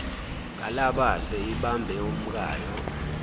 kalabase ibambe umkayo